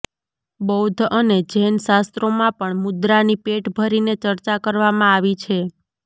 બૌદ્ધ અને જૈન શાસ્ત્રોમાં પણ મુદ્રાની પેટ ભરીને ચર્ચા કરવામાં આવી છે